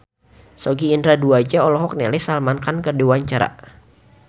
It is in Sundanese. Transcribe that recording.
Sogi Indra Duaja olohok ningali Salman Khan keur diwawancara